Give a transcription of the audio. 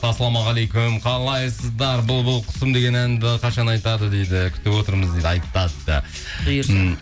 ассалаумағалейкум қалайсыздар бұлбұл құсым деген әнді қашан айтады дейді күтіп отырмыз дейді айтады бұйырса